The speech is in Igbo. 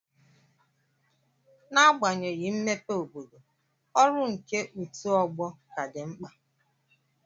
N'agbanyeghị mmepe obodo, ọrụ nke otù ọgbọ ka dị mkpa.